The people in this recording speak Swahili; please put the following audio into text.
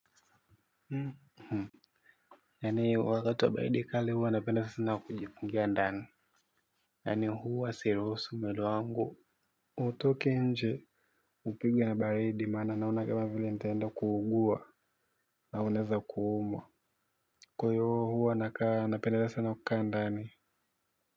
Hum hum hanyo wakatuwa baidi kali huwa na pendelea sina wa kujia ndani hanyo huwa si rosu mwili wangu utoke nje upigwa na baridi mana naona kabla vile ntenda kuugua nauneza kuuma kkwa iyo huwa nakaa na pendelea sana wa kandani.